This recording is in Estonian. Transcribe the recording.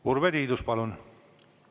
Urve Tiidus, palun!